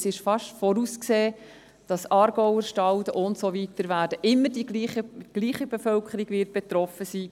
– Es ist fast vorauszusehen, dass der Aargauerstalden und so weiter, also immer dieselbe Bevölkerung betroffen sein wird.